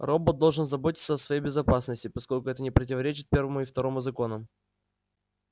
робот должен заботиться о своей безопасности поскольку это не противоречит первому и второму законам